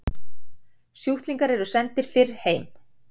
Sjúklingar eru sendir fyrr heim